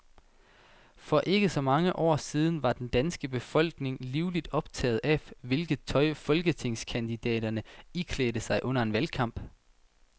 For ikke så mange år siden var den danske befolkning livligt optaget af, hvilket tøj folketingskandidaterne iklædte sig under en valgkamp.